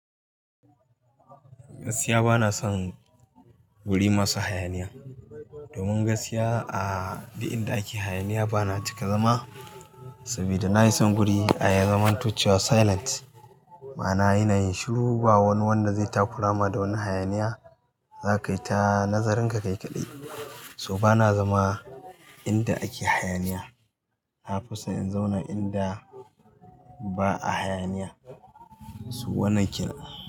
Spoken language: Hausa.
Gaskiya bana son guri masu hayaniya. Domin gaskiya a duk inda ake hayaniya bana cika zama. Saboda na yi son guri ya zamanto cewa silent. Ma'ana ina yin shiru ba wani wanda zai takura ma da wani hayaniya. Za ka yi ta nazarinka kai kaɗai. So bana zama inda ake hayaniya. Na fi so in zauna inda ba a hayaniya. So wannan kir-